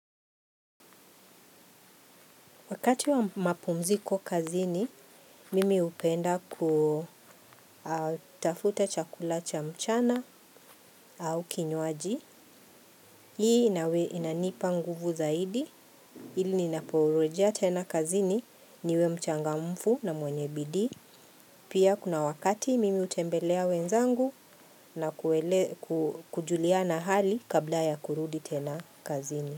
Wakati wa mapumziko kazini, mimi hupenda kutafuta chakula cha mchana au kinywaji. Hii inanipa nguvu zaidi. Hili ninaporejea tena kazini niwe mchangamfu na mwenye bidii. Pia kuna wakati mimi utembelea wenzangu na kujuliana hali kabla ya kurudi tena kazini.